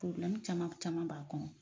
caman caman b'a kɔnɔ.